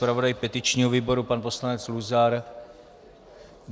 Zpravodaj petičního výboru pan poslanec Luzar?